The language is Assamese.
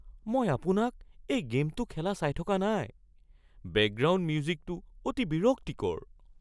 মই আপোনাক এই গে'মটো খেলা চাই থকা নাই। বেকগ্ৰাউণ্ড মিউজিকটো অতি বিৰক্তিকৰ!